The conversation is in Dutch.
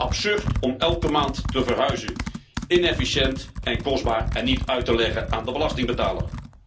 Absurd om elke maand te verhuizen, inefficiënt, kostbaar en niet uit te leggen aan de belastingbetaler.